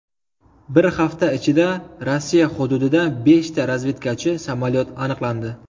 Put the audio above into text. Bir hafta ichida Rossiya hududida beshta razvedkachi samolyot aniqlandi.